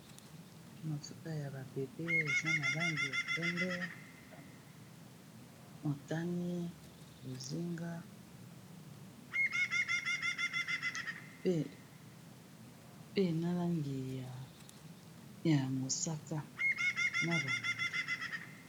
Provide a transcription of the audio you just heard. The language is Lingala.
na futa ya babebe eza na langi ya pembe otani bozinga pe na langi ya mosata na longondo